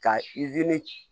Ka